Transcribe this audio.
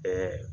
Bɛɛ